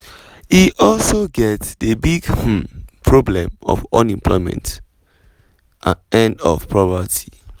e also get di big um problem of unemployment and of poverty.